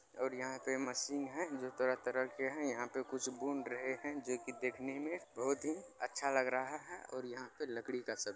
और यहाँ पे मशीन है जो तरह-तरह के है यहां पे कुछ बुन रहे है जोकि देखने में बहुत ही अच्छा लग रहा है और यहाँ पे लकड़ी का सब----